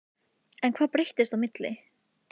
En hvað breyttist á milli?